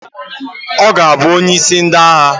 Ọ ga-abụ onyeisi ndị agha?